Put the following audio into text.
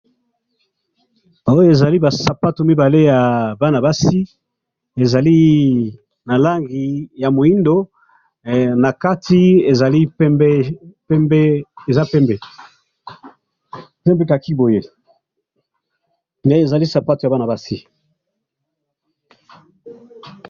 Oyo ba sapato mibale ya bana basi ezali na langi ya muindo ,na kati ezali pembe ,pembe, eza pembe ,pembe khaki boye mais ezali sapato ya bana basi